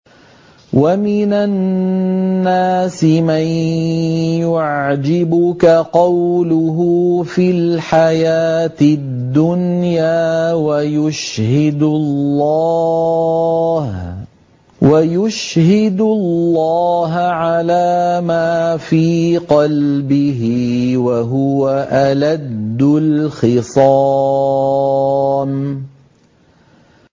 وَمِنَ النَّاسِ مَن يُعْجِبُكَ قَوْلُهُ فِي الْحَيَاةِ الدُّنْيَا وَيُشْهِدُ اللَّهَ عَلَىٰ مَا فِي قَلْبِهِ وَهُوَ أَلَدُّ الْخِصَامِ